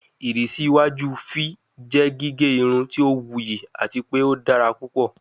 Irisi iwaju v jẹ gige irun ti o wuyi ati pe o dara pupọ